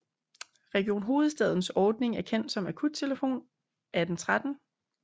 Region Hovedstadens ordning er kendt som akuttelefonen 1813